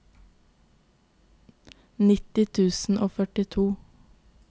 nitti tusen og førtito